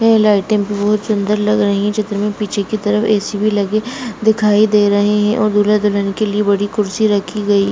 ये लाइटिंग बहुत सुन्दर लग रही है | चित्र में पीछे की तरफ ऐ.सी. भी लगी दिखाई दे रही है और दूल्हा दुल्हन के लिए बड़ी कुर्सी रखी गई है |